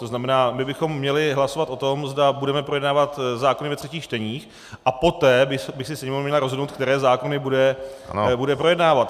To znamená, my bychom měli hlasovat o tom, zda budeme projednávat zákony ve třetích čteních, a poté by se Sněmovna měla rozhodnout, které zákony bude projednávat.